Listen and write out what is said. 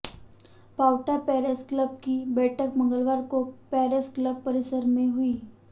Paonta press club की बैठक मंगलवार को पे्रस क्लब परिसर में हुई